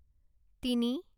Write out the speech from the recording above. তিনি